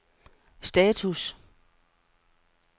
status